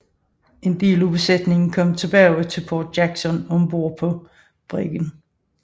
En del af besætningen kom tilbage til Port Jackson ombord på briggen